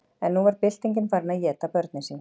en nú var byltingin farin að éta börnin sín